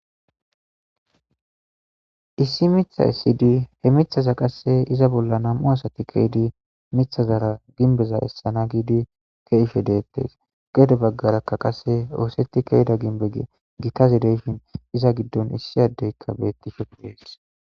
Issi miththa essidi he miththaza qasse iza bolla nami'u asati ke'idi miththazara gimbeza ke'ishe deettes. Gede baggarakka qasse ooseti ke'ida gimbe gitaz de'shin iza giddonkka issi addeykka beettishe de'es.